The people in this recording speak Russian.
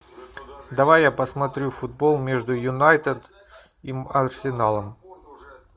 давай я посмотрю футбол между юнайтед и арсеналом